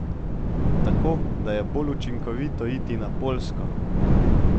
Tako da je bolj učinkovito iti na Poljsko.